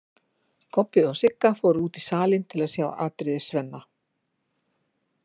Kobbi og Sigga fóru út í salinn til að sjá atriði Svenna.